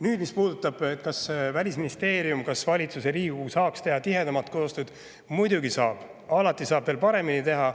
Nüüd, mis puudutab seda, kas Välisministeerium, valitsus ja Riigikogu saaks teha tihedamat koostööd: muidugi saaks, alati saab paremini teha.